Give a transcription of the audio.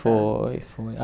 Foi, foi. A